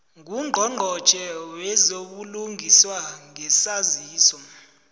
ngungqongqotjhe wezobulungiswa ngesaziso